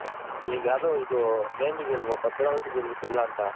ಇದ್ ಯಾವ್ದ್ name ಇದ್ಯಲ್ವ ಬದ್ರಾವತಿ ಬೆಲ್ಲ ಅಂತ.